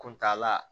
Kuntaala